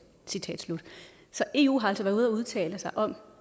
så eu har altså været ude at udtale sig om